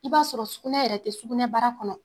I b'a sɔrɔ sugunɛ yɛrɛ te sugunɛbara kɔnɔ.